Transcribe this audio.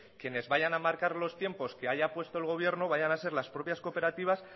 que quienes vayan a marcar los tiempos que haya puesto el gobierno vayan a ser las propias cooperativas